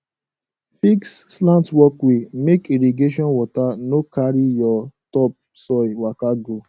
fix slant walkway make irrigation water no carry your topsoil waka go